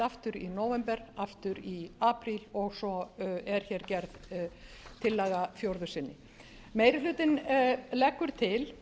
aftur í nóvember aftur í apríl og svo er hér gerð tillaga í fjórða sinnið meiri hlutinn leggur til